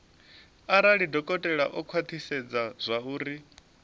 arali dokotela o khwathisedza zwauri